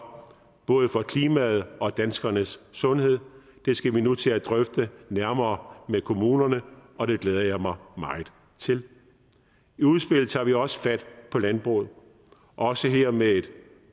både for klimaet og danskernes sundhed det skal vi nu til at drøfte nærmere med kommunerne og det glæder jeg mig meget til i udspillet tager vi også fat på landbruget også her med et